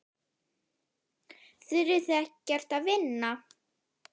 Þurfið þið ekkert að vinna?